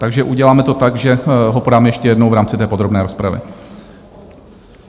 Takže uděláme to tak, že ho podáme ještě jednou v rámci té podrobné rozpravy.